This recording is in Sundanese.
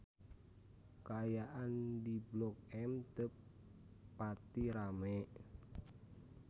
Kaayaan di Blok M teu pati rame